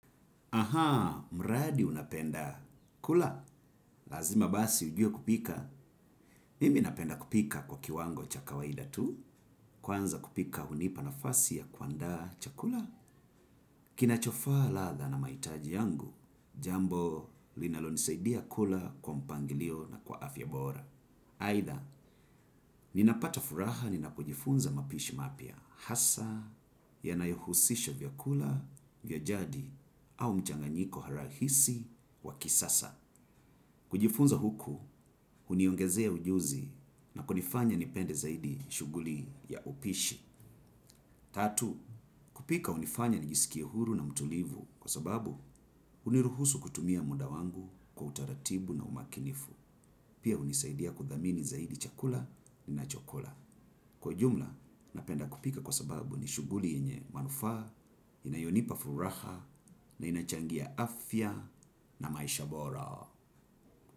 Aha, mradi unapenda. Kula, lazima basi ujue kupika. Mimi napenda kupika kwa kiwango cha kawaida tu, kwanza kupika hunipa nafasi ya kuandaa chakula. Kinachofaa ladha na mahitaji yangu, jambo linalonisaidia kula kwa mpangilio na kwa afya bora. Aidha, ninapata furaha ninapojifunza mapishi mapya. Hasaa, yanayohusisha vyakula vya jadi au mchanganyiko rahisi wa kisasa. Kujifunza huku, huniongezea ujuzi na kunifanya nipende zaidi shughuli ya upishi. Tatu, kupika hunifanya nijisikie huru na mtulivu kwa sababu huniruhusu kutumia muda wangu kwa utaratibu na umakinifu. Pia hunisaidia kudhamini zaidi chakula ninachokula. Kwa ujumla, napenda kupika kwa sababu ni shughuli yenye manufaa, inayonipa furaha, na inachangia afya na maisha bora.